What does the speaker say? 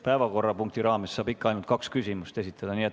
Päevakorrapunkti raames saab ikka ainult kaks küsimust esitada.